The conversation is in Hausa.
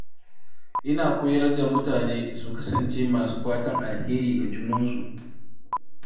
Ina koyar da mutane su kasance masu fatan alheri ga junansu.